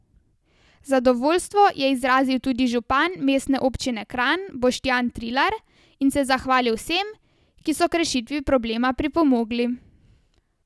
Zadovoljstvo je izrazil tudi župan mestne občine Kranj Boštjan Trilar in se zahvalil vsem, ki so k rešitvi problema pripomogli.